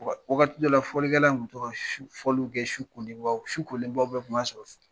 Wagati dɔw fɔlikɛlaw tun bɛ to ka fɔliw kɛ sukolenba su kolenbaw bɛ tun b'a sɔrɔ